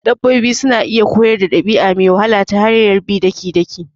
Dabbobi suna iya koyar dabi'a me wahala ta hanyar bi daki-daki